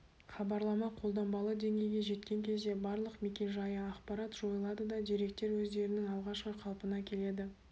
хабарлама қолданбалы деңгейге жеткен кезде барлық мекен-жайы ақпарат жойылады да деректер өздерінің алғашқы қалпына келеді